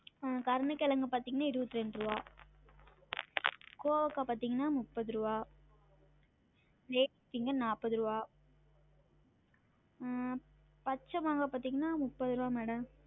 ஆஹ் கருண கெழங்கு பாத்தீங்கன்னா இருவத்தி ரெண்டு ருவா கோவக்கா முப்பது ருவா ladies finger நாப்பது ருவா அஹ் பாத்தீங்கன்னா முப்பது ருவா madam